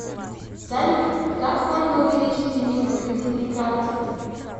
салют как можно увеличить лимит по кредитной карте